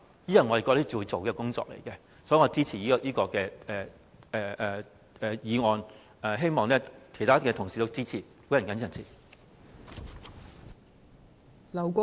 我覺得這是要做的工作，所以我支持這項議案，希望其他同事也予以支持。